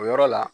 O yɔrɔ la